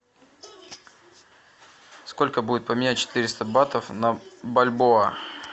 сколько будет поменять четыреста батов на бальбоа